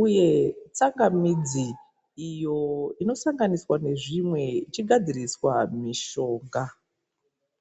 uye tsangamidzi iyo inosanganiswa nezvimwe ichigadziriswa mishonga.